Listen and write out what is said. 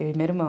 Eu e meu irmão.